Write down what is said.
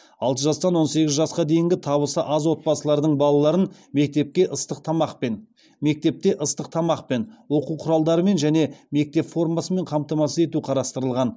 алты жастан он сегіз жасқа дейінгі табысы аз отбасылардың балаларын мектепте ыстық тамақпен оқу құралдарымен және мектеп формасымен қамтамасыз ету қарастырылған